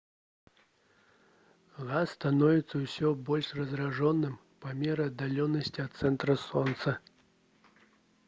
газ становіцца ўсё больш разрэджаным па меры аддалення ад цэнтра сонца